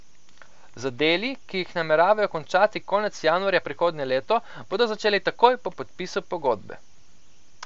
Z deli, ki jih nameravajo končati konec januarja prihodnje leto, bodo začeli takoj po podpisu pogodbe.